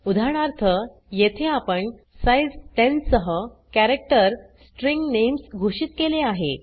उदाहरणार्थ येथे आपण साइझ 10 सह कॅरेक्टर स्ट्रिंग नेम्स घोषित केले आहे